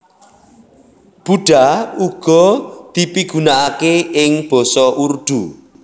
Buddha uga dipigunakaké ing basa Urdu